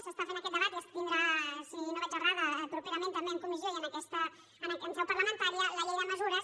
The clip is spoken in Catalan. s’està fent aquest debat i es tindrà si no vaig errada properament també en comissió i en seu parlamentària la llei de mesures